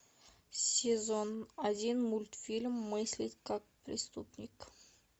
сезон один мультфильм мыслить как преступник